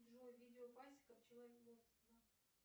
джой видео пасека пчеловодство